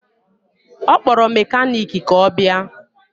Ọ kpọrọ mekaniki ka ọ bịa